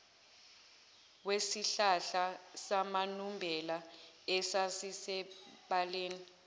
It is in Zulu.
wesihlahla samanumbela esasisebaleni